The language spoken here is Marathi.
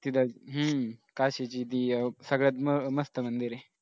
तिथं हम्म काशीची देव सगळ्यात मस्त मंदिर आहे.